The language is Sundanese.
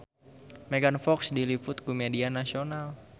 Megan Fox diliput ku media nasional